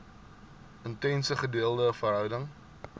intense gedeelde verhouding